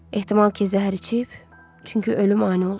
Ehtimal ki zəhər içib, çünki ölüm ani olub.